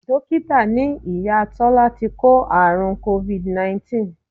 Dókítà ní Ìyá Tọ́lá ti kó àrùn Covid 19